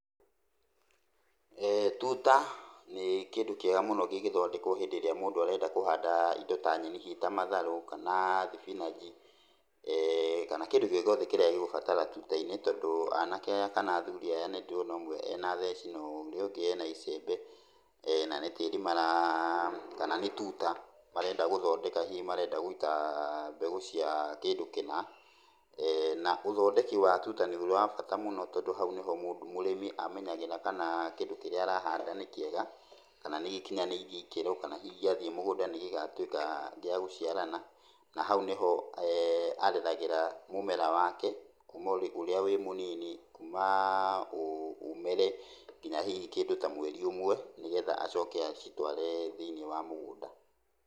Tuta nĩ kĩndũ kĩega mũno gĩgĩthondekwo hĩndĩ ĩrĩa mũndũ arenda kũhanda indo ta nyeni hihi ta matharũ, kana thibinanji, kana kĩndũ o gĩothe kĩrĩa gĩgũbatara tuta-inĩ, tondũ anake aya kana athuri aya nĩndĩrona ũmwe ena theci na ũrĩa ũngĩ ena icembe, na nĩ tĩiri mara, kana nĩ tuta marenda gũthondeka, hihi marenda gũita mbegũ cia kĩndũ kĩna. Na ũthondeki wa tuta nĩ wa bata mũno tondũ hau nĩho mũ, mũrĩmi amenyagĩra kana kĩndũ kĩrĩa arahanda nĩ kĩega, kana nĩgĩkĩnyanĩirie ikĩro, kana hihi gĩathiĩ mũgũnda nĩgĩgatuĩka gĩa gũciarana, na hau nĩho areragĩra mũmera wake kuuma ũrĩa wĩ mũnini, kuuma ũmere nginya hihi kĩndũ ta mweri ũmwe, nĩgetha acoke acitware thĩiniĩ wa mũgũnda.